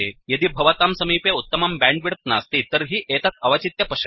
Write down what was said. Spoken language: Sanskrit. यदि भवतां समीपे उत्तमं बैण्डविड्थ नास्ति तर्हि एतत् अवचित्य पश्यतु